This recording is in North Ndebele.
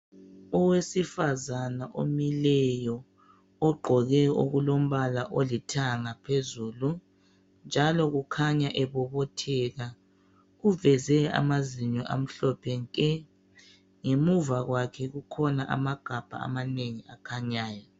Owesifazana omileyo, ogqoke okulombala olithanga phezulu. Njalo kukhanya ebobotheka uveze amazinyo amhlophe nke. Ngemuva kwakhe kukhona amagabha amanengi akhanyayo